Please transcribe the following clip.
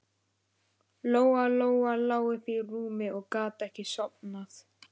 Lóa-Lóa lá uppi í rúmi og gat ekki sofnað.